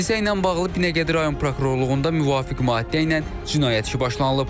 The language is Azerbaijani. Hadisə ilə bağlı Binəqədi rayon prokurorluğunda müvafiq maddə ilə cinayət işi başlanılıb.